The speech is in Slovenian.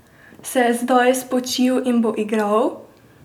Se je zdaj spočil in bo igral?